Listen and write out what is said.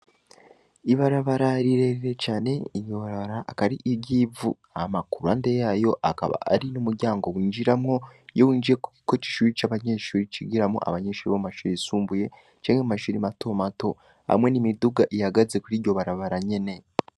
Ibarabararirerere cane inyorara akari iryivu ama kurande yayo akaba ari n'umuryango winjiramwo yo injiye, kuko cishuri c'abanyeshuri cigiramwo abanyenshuri b'mashuri isumbuye camke mu bashura i matomato hamwe n'imiduga ihagaze kuri ryo barabara nyene.